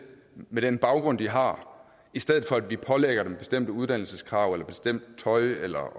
med den baggrund de har i stedet for at vi pålægger dem bestemte uddannelseskrav eller bestemt tøj eller at